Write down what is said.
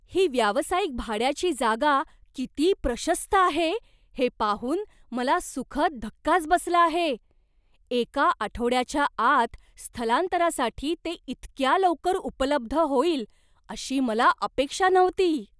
ही व्यावसायिक भाड्याची जागा किती प्रशस्त आहे हे पाहून मला सुखद धक्काच बसला आहे. एका आठवड्याच्या आत स्थलांतरासाठी ते इतक्या लवकर उपलब्ध होईल अशी मला अपेक्षा नव्हती!